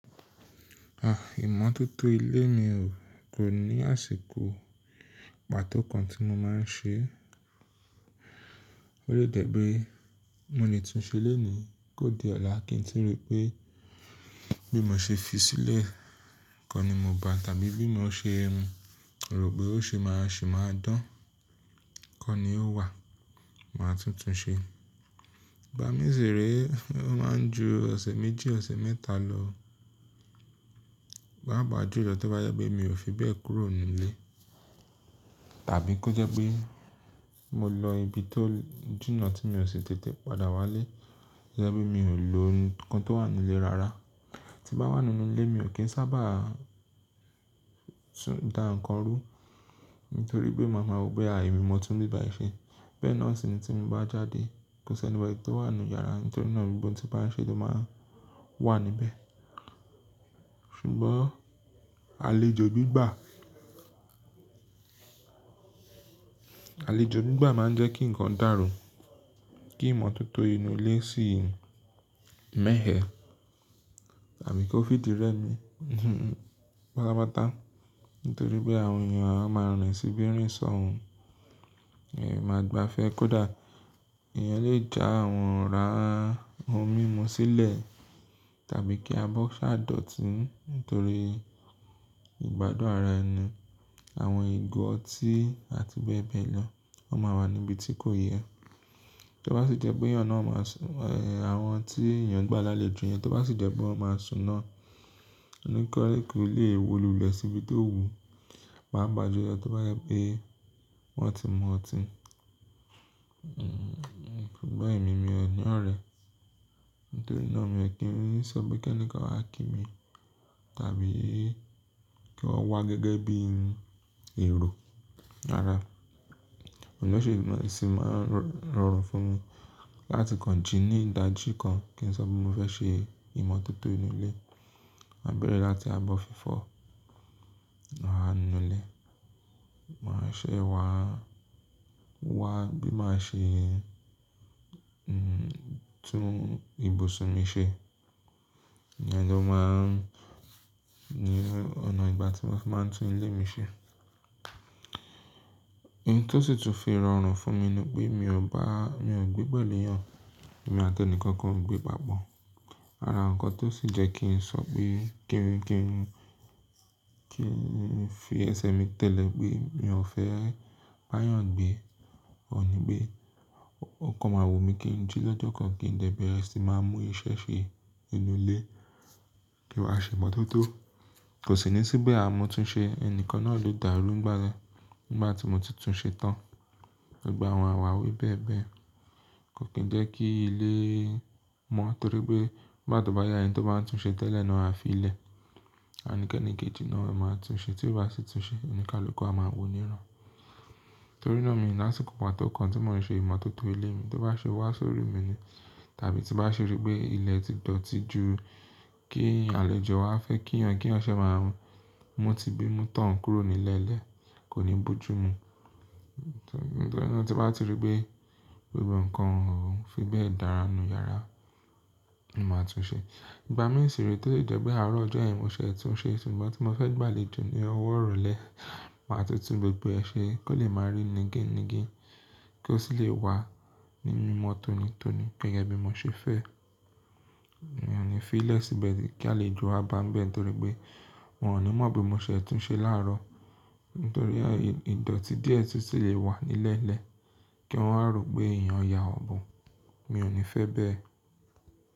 À, ìmọ̀tótó ilé mi ò kò ní àsìkò pàtó kan tí mo máa ń ṣe. Ó lè jẹ́ pé mo lè tún ṣe lónìí kó di ọ̀la kí n tí rí pé bí mo ṣe fi sílẹ̀ kọ́ ni mo bá tàbí bí mo ṣe rò pé ó ṣe máa sì máa dán, kọ́ ni ó wà, màá tún tun ṣe. Ìgbà mí sì rí i, ó máa ń ju ọ̀sẹ̀ méjì, ọ̀sẹ̀ mẹ́ta lọ. Pápa jú lọ tí ó bá jẹ́ pé mi ò fi bẹ́ẹ̀ kúrò nínú ilé tàbí kó jẹ́ pé mo lọ ibi tó jìnà tí mi ò ṣe tètè padà wá ilé, jẹ́ bí mi ò lò ohun kan tó wà nínú ilé rara. Ti bá wà nínú ilé mi ò kí ń sábà tún da ǹkan rú nítorí pé màá mọ pé àìní mi mọ̀ túùn níbà ṣe. Bẹ́ẹ̀ náà sì ni tí mo bá jáde, kò sí ẹni mọ ẹni tó wà nínú yàrá nítorí náà gbogbo ohun tí bá ń ṣe ló máa ń wà níbẹ́. Ṣùgbọ́n àlejò gbígbà, àlejò gbígbà má ń jẹ́ kí ǹkan dàrú, kí ìmọ̀tótó inú ilé sì mẹ̀hẹ́ tàbí kó fi rẹ́ mi patapata. Nítorí pé àwọn èèyàn a máa ràn ẹ síbi rìn sọ́hun, èyí a máa gbafẹ́ kódà. Ìyẹn lè já àwọn ra ohun mímu sílẹ̀ tàbí kí a bọ́ ṣàdọ̀tí nítorí ìgbádùn arà ẹni. Àwọn ìgò ọtí àti bẹ́ẹ̀ bẹ́ẹ̀ lọ wọ́n máa wà níbi tí kò yẹ. Tí ó bá sì jẹ́ pé eyan náà máa sùn, àwọn tí èèyàn gba lálejò yẹn tí ó bá sì jẹ́ pé wọ́n máa sùn náà, oníkọ́rẹ́ kò lè wọ lulẹ̀ síbi tó wu. Máapà jú lọ tí ó bá jẹ́ pé wọ́n ti mú ọtí. Ṣùgbọ́n èmi mi ò ní ọ̀rẹ́ nítorí náà mi ò kí ń sọ pé kẹ́ni kan wà kí mi tàbí kí wọ́n wá gẹ́gẹ́ bí i èrò ara. Òun ló ṣe ìmọ̀ràn yìí sì máa ń rọrùn fún mi láti kànjì ní ìdájí kan kí n sọ pé mo fẹ́ ṣe ìmọ̀tótó inú ilé. Màá bẹ̀rẹ̀ láti abọ́ fífọ̀, àà nínú ilé. Màá ṣẹ̀ wá, wá bí màá ṣe, tún ibùsùn mi ṣe. Ìyẹn ló máa ń ni ọ̀nà ìgbà tí mọ́ n fi máa ń tún ilé mi ṣe. Òhùn tó sì tún fi rọrùn fún mi ni pé mi ò bá, mi ò gbé pẹ̀lú èèyàn. Èmi àti ẹni kan kan o gbé Papọ̀. Ara ǹkan tó sì jẹ́ kí n sọ pé kí n, kí n, kí n fi ẹ̀sẹ̀ mi tẹ̀lé pé mi ò fẹ́ bá èèyàn gbé. Òun ní pé ó kàn wò mí kí n jí lọ́jọ́ kan kí n dẹ̀ bẹ́ẹ̀ sì máa mú iṣẹ́ ṣe inú ilé kí ó wá ṣe ìmọ̀tótó. Kò sì ní sípẹ̀ à mọ́ tún ṣe ẹni kan náà ló dàrú ìgbà náà. Nigbá ti mú títún ṣe tán. Ọ̀gbà àwọn àwàwé bẹ́ẹ̀ bẹ́ẹ̀ kò kí ń jẹ́ kí ilé mọ́ nítorí pé bá tò bá yá ẹ̀yin tó bá ń tún ṣe tẹ́lẹ̀ náà fi ilẹ̀. A ní kẹ́ ní kìjì náà a máa tún ṣe tí ó bá sì tún ṣe, onìkalókó a máa wò níran. Nítorí náà mi ní àsìkò pàtó kan tí mò ń ṣe ìmọ̀tótó ilé mi tí ó bá ṣe wá sórí mi ni tàbí tí bá ṣe rí pé ilẹ̀ ti dọ̀tí ju kí àlejò wá fẹ́ kí eyan kí eyan ṣẹ máa hun. Mo ti gbé, mo tàn kúrò nílẹ́lẹ̀, kò ní bojú mu. Nítorí náà tí bá ti rí pé gbogbo ǹkan òún fi bẹ́ẹ̀ dára nínú yàrá, mo máa tún ṣe. Ìgbà mí sì rí i tí ó lè jẹ́ pé àárọ̀ ọjọ́ ẹ̀yin mo ṣẹ̀ tún ṣe ṣùgbọ́n tí mo fẹ́ gbà lé ju ní ọwọ́ òrò lè, màá tún tún gbogbo ẹ ṣe kó lè máa rí nìkan nìkan kí ó sì lè wà nínú ìmọ̀ tónítóni gẹgẹ́ bi mo ṣe fẹ́. Èmi ò ní fi ìlẹ̀ síbẹ̀ kí àlejò wa bá ń bẹ́ẹ̀ nítorí pé wọn ò ní mọ̀ bí mo ṣe tún ṣe láàárọ̀ nítorí ìdọ̀tí díẹ̀ tí sì lè wà nílẹ́lẹ̀ kí wọn á rò pé èèyàn ya ọ̀bùn. Mi ò ní fẹ́ bẹ́ẹ̀.